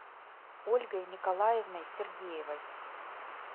ольгой николаевной сергеевой